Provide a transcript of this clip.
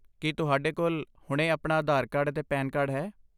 ਕੀ ਤੁਹਾਡੇ ਕੋਲ ਹੁਣੇ ਆਪਣਾ ਆਧਾਰ ਕਾਰਡ ਅਤੇ ਪੈਨ ਕਾਰਡ ਹੈ?